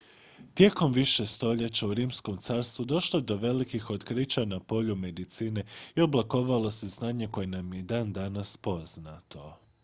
tijekom više stoljeća u rimskom carstvu došlo je do velikih otkrića na polju medicine i oblikovalo se znanje koje nam je i dan danas poznato